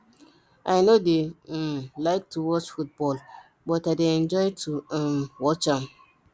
i no dey um like to watch football but i dey enjoy to um watch am